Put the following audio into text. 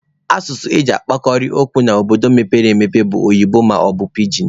Asụsụ e ji ekwukarị okwu n'obodo mepere emepe bụ oyibo maọbụ pijin.